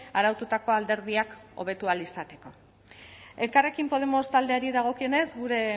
araututako alderdiak hobetu ahal izateko elkarrekin podemos taldeari dagokionez gure